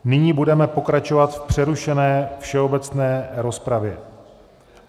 Nyní budeme pokračovat v přerušené všeobecné rozpravě.